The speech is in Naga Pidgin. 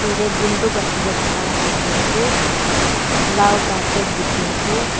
yetae buntuk rakhi na thaka la dikhiase laal carpet dikhiase.